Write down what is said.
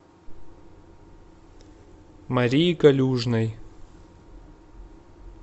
марии калюжной